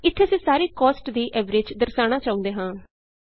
ਇਥੇ ਅਸੀਂ ਸਾਰੀ ਕੋਸਟ ਦੀ ਐਵਰੇਜ ਦਰਸਾਉਣਾ ਚਾਹੁੰਦੇ ਹਾਂ